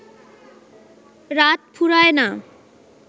রাত ফুরায় না